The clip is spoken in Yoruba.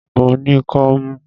Mo ní kọ́mú.